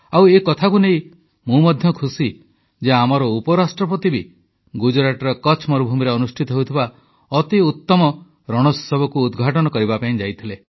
ଆଉ ଏକଥାକୁ ନେଇ ମୁଁ ମଧ୍ୟ ଖୁସି ଯେ ଆମର ଉପରାଷ୍ଟ୍ରପତି ବି ଗୁଜରାଟର କଚ୍ଛ ମରୁଭୂମିରେ ଅନୁଷ୍ଠିତ ହେଉଥିବା ଅତି ଉତ୍ତମ ରଣୋତ୍ସବକୁ ଉଦଘାଟନ କରିବା ପାଇଁ ଯାଇଥିଲେ